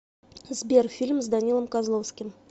сбер фильм с данилом козловским